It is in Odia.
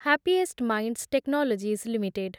happiest minds technologies limited